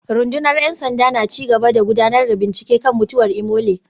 Rundunar ‘yan sanda na ci gaba da gudanar da bincike kan mutuwar Imole